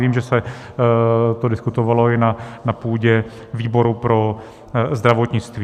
Vím, že se to diskutovalo i na půdě výboru pro zdravotnictví.